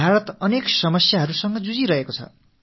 பாரதம் பல பிரச்சனைகளை சந்தித்து வருகிறது